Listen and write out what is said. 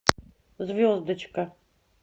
звездочка